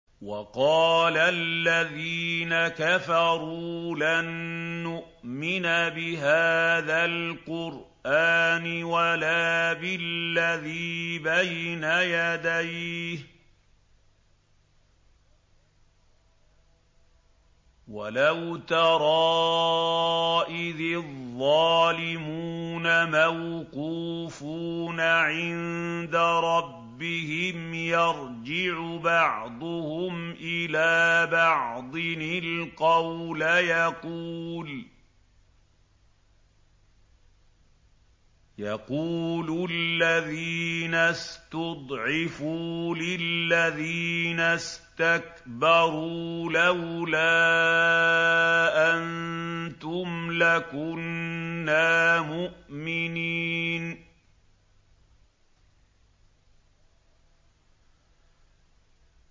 وَقَالَ الَّذِينَ كَفَرُوا لَن نُّؤْمِنَ بِهَٰذَا الْقُرْآنِ وَلَا بِالَّذِي بَيْنَ يَدَيْهِ ۗ وَلَوْ تَرَىٰ إِذِ الظَّالِمُونَ مَوْقُوفُونَ عِندَ رَبِّهِمْ يَرْجِعُ بَعْضُهُمْ إِلَىٰ بَعْضٍ الْقَوْلَ يَقُولُ الَّذِينَ اسْتُضْعِفُوا لِلَّذِينَ اسْتَكْبَرُوا لَوْلَا أَنتُمْ لَكُنَّا مُؤْمِنِينَ